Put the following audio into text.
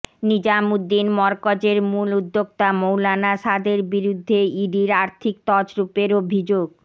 নিজামুদ্দিন মরকজের মূল উদ্যোক্তা মৌলানা সাদের বিরুদ্ধে ইডির আর্থিক তছরুপের অভিযোগ